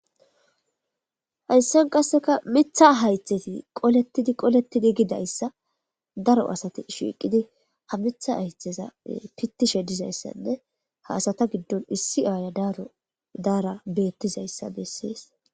hayssan qasseka mitha haytheti qolettidi qolettidi gidayssa daro asati shiiqidi ha mitha haytheza pittishe dizayssanne ha asata giddon issi aaya daro daara beettizayssa bessees